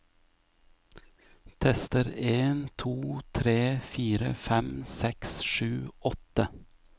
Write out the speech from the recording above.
Tester en to tre fire fem seks sju åtte